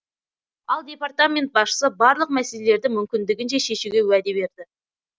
ал департамент басшысы барлық мәселелерді мүмкіндігінше шешуге уәде берді